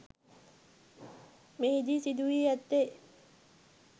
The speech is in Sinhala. මෙහිදී සිදුවී ඇත්තේ